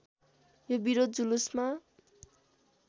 यो विरोध जुलुसमा